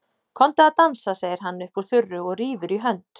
Komdu að dansa, segir hann upp úr þurru og rífur í hönd